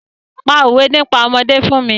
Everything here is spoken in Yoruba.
Pa òwé nípa ọmọdé fún mi!